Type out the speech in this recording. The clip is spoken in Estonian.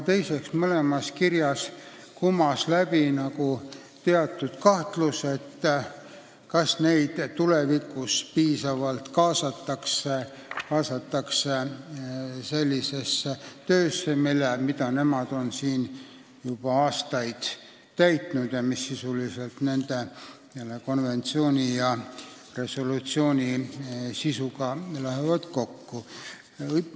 Teiseks, mõlemast kirjast kumas läbi kahtlus, kas neid tulevikus piisavalt kaasatakse töösse, mida nad on juba aastaid teinud ning mis konventsiooni ja resolutsiooni sisuga kokku läheb.